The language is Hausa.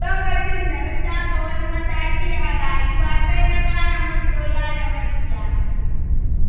Lokacin da na taka wani mataki a rayuwa, sai na gane masoya da maƙiya